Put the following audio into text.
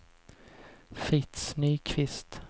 Fritz Nyqvist